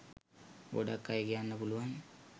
ගොඩක් අය කියන්න පුලුවන්